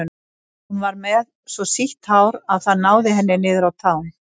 Hún var með svo sítt hár að það náði henni niður að tám.